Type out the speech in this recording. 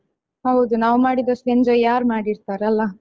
ಹೌದು ನಾವ್ ಮಾಡಿದಷ್ಟು enjoy ಯಾರ್ ಮಾಡಿರ್ತಾರೆ ಅಲಾ.